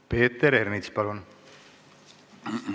Peeter Ernits, palun!